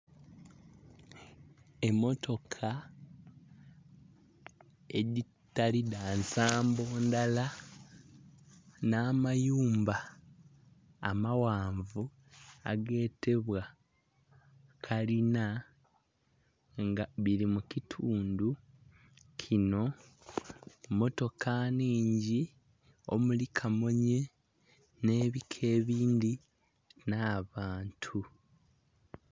Emmotoka edhitali dhansambo ndhala n'amayumba amaghanvu agetebwa kalina nga biri mukitundhu kino mmotoka nnhingi omuli kamunhye n'ebika ebindhi n'abantu.